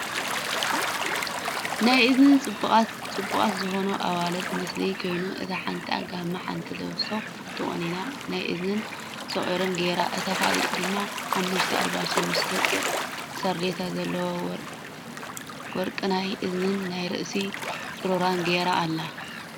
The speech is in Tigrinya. ናይ ኣዝየን ፅቡቃት ዝኮና ኣዋልድ ምስሊ ኮይኑ እታ ሓንቲ ጋመ ሓንቲ ኣልባሶ ተቆኒና ናይ እዝናን ሶቂርን ጌራ እታ ካልእ ድማ ሓሙስተ ኣልባሶ ምስ ደቂቅ ሳርዴታ ዘለዎ ወርቅናይ እዝኒን ናይ ርእሲ ፁሩራ ጌራ ኣላ።